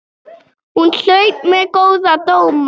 Hún hlaut mjög góða dóma.